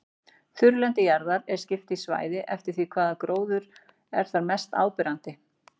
Þurrlendi jarðar er skipt í svæði eftir því hvaða gróður er þar mest áberandi.